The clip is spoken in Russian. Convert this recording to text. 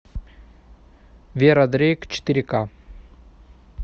вера дрейк четыре ка